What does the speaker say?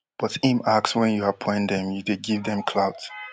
but im ask wen you appoint dem you dey give dem clout